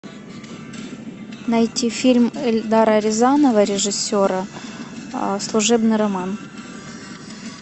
найти фильм эльдара рязанова режиссера служебный роман